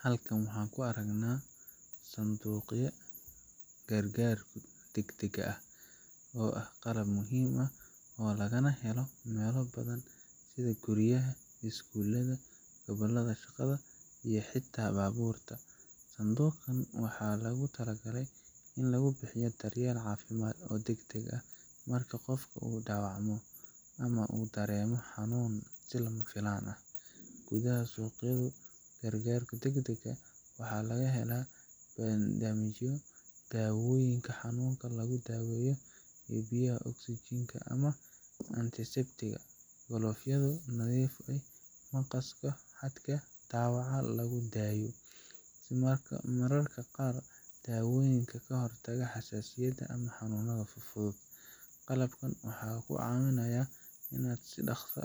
Halkan waxaa ku aragnaa sanduuqya gargaarka dagdaga ah, oo ah qalab muhiim ah oo lagana helo meelo badan, sida guryaha, iskuulada, meelaha shaqada iyo xitaa baabuurta, sanduuqan waxaa loogu tala galay in lagu bixiyo dar yeel cafimaad oo dagdag ah, marka qofku uu daawacmo ama uu dareemo xanuun si lama filan ah, gudaha suuqyadu gargaarka dagdaga ah waxaa laga helaa bandajyo, daawoyiinka xanuunka lagu daaweyo iyo biyaha oxygen ,glovyada nadiifka, maqaska, mararka qaar dawooyinka kahor taga xasaasiyada ama xanuunada fudfudud, qalabkan wuxuu kaa cawinaaya inaad si daqsi